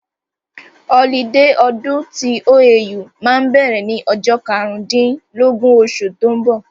Ọlidé ọdún tí OAU máa bẹ̀rẹ̀ ní ọjọ́ karùn dín lógún osù tó ń bọ̀